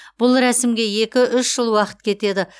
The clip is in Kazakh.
бұл рәсімге екі үш жыл уақыт кетеді